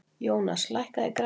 Jónas, lækkaðu í græjunum.